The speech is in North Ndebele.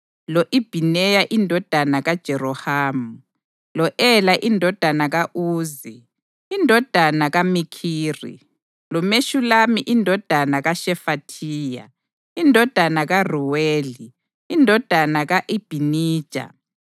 lo-Ibhineya indodana kaJerohamu; lo-Ela indodana ka-Uzi, indodana kaMikhiri; loMeshulami indodana kaShefathiya, indodana kaRuweli, indodana ka-Ibhinija.